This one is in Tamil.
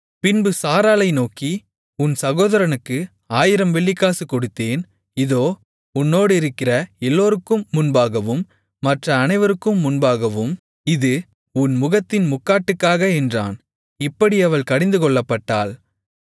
பின்பு சாராளை நோக்கி உன் சகோதரனுக்கு ஆயிரம் வெள்ளிக்காசு கொடுத்தேன் இதோ உன்னோடிருக்கிற எல்லோருக்கும் முன்பாகவும் மற்ற அனைவருக்கும் முன்பாகவும் இது உன் முகத்தின் முக்காட்டுக்காக என்றான் இப்படி அவள் கடிந்துகொள்ளப்பட்டாள்